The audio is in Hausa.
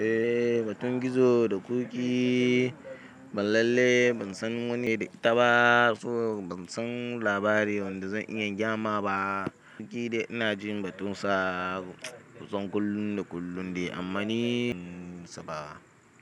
Eh, batun gizo da ƙuki ban lalle ban san wani da ita ba, so ban san labari wanda zan iya gyama ba. Ƙuki dai ina jin batun sa, kusan kullun da kullun ne amma ni ban san sa ba.